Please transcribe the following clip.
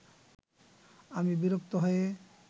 আমি বিরক্ত হয়ে